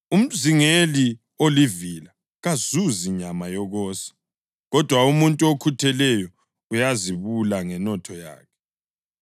Umzingeli olivila kazuzi nyama yokosa, kodwa umuntu okhutheleyo uyazibula ngenotho yakhe.